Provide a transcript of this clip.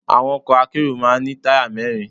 Àwọn ọkọ̀ akérò máa ń ní táyà mẹ́rin.